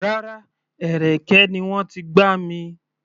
Rárá, ẹ̀rẹ̀kẹ́ ni wọ́n ti gbá mi.